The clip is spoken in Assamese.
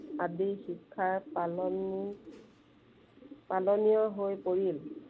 আদি শিক্ষাৰ পালন পালনীয় হৈ পৰিল।